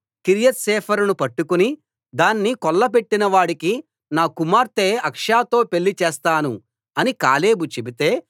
కిర్యత్సేఫెరును పట్టుకుని దాన్ని కొల్లపెట్టిన వాడికి నా కుమార్తె అక్సాతో పెళ్లి చేస్తాను అని కాలేబు చెబితే